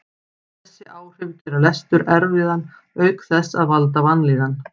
Þessi áhrif gera lestur erfiðan auk þess að valda vanlíðan.